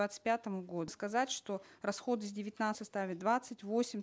двадцать пятому году сказать что расходы составят двадцать восемь